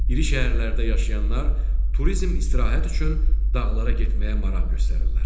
İri şəhərlərdə yaşayanlar turizm istirahət üçün dağlara getməyə maraq göstərirlər.